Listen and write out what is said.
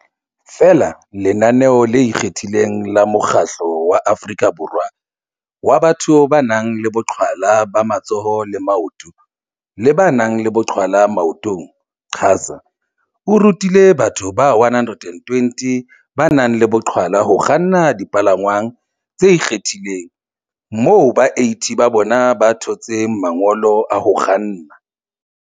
Feela lenaneo le ikgethileng la Mokgatlo wa Aforika Borwa wa Batho ba nang le Boqhwa la ba Matsoho le Maoto le ba nang le Boqhwala Maotong QASA o rutile batho ba 120 ba nang le boqhwala ho kganna dipalangwang tse ikgethileng, moo ba 80 ba bona ba thotseng mangolo a ho kganna.